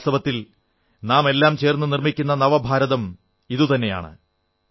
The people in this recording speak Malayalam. വാസ്തവത്തിൽ നാമെല്ലാം ചേർന്നു നിർമ്മിക്കുന്ന നവഭാരതം ഇതുതന്നെയാണ്